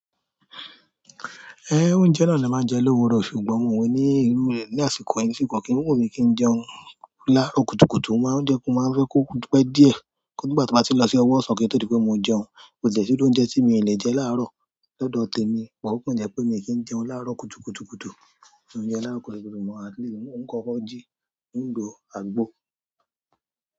Eh, oúnjẹ náà ni màá jẹ lówuro, ṣùgbọ́n òun ní irú rẹ̀ ní àsìkò yìí, kì kàn kí ń wú mi kí n jẹun láàárọ̀ kùtùkùtù, mo máa ń jẹun mo máa ń fẹ́ kó pẹ́ díẹ̀ kí di nígbà tí o ba ti n lọ sí ọwọ́ sàn kí o tó dí pé mò ń jẹun. Kò de si iru oúnjẹ tí mi o le jẹ láàárọ̀ lọ́dọ̀ tèmi, but o kòn je pé mi kì í jẹun láàárọ̀ kùtùkùtù. Oúnjẹ láàárọ̀ kùtùkùtù mọ̀, at least ń kọ ọ́ jí, ó ń lo àgbo.